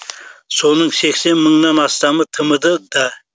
соның сексен мыңнан астамы тмд да